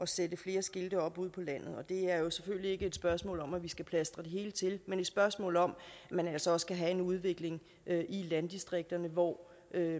sætte flere skilte op ude på landet det er jo selvfølgelig ikke et spørgsmål om at man skal plastre det hele til men et spørgsmål om at man altså også skal have en udvikling i landdistrikterne hvor